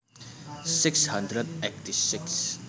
Six hundred eighty six